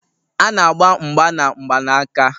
A na-agba mgba na mgbanaka